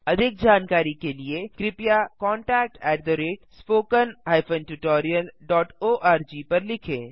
अधिक जानकारी के लिए कृपया contactspoken tutorialorg पर लिखें